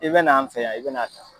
I bɛna n fɛ yan i bɛna taa.